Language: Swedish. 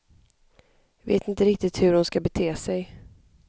Vet inte riktigt hur hon ska bete sig.